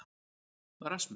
Rasmus